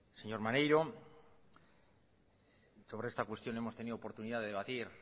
señor maneiro sobre esta cuestión hemos tenido oportunidad de debatir